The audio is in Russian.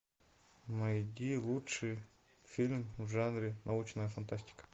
найди лучший фильм в жанре научная фантастика